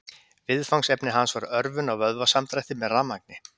Viðfangsefni hans var örvun á vöðvasamdrætti með rafmagni.